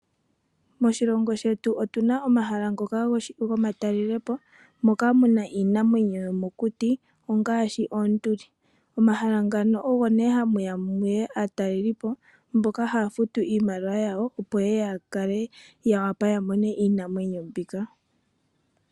Moshilongo shetu otunamo omahala ngoka gomatalelepo iinamwenyo ngaashi oonduli. Momahala muno omo hamu ya aatalelipo, mboka haya futu iimaliwa yawo opo ya wape okumona iinamwenyo mbika.